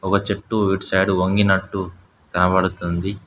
ఒక చెట్టు ఇటు సైడు వంగినట్టు కనబడుతుంది.